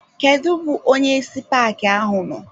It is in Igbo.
Kedụ bụ onyeisi paaki ahụ nọ?